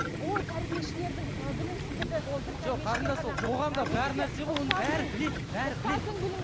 ой тәрбиешілердің і білімсіздігі